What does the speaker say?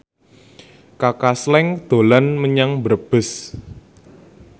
Kaka Slank dolan menyang Brebes